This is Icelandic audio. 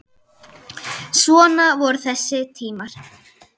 Svona voru þessi tímar.